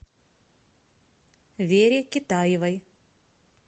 вере китаевой